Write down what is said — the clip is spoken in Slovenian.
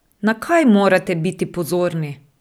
Na kaj morate biti pozorni?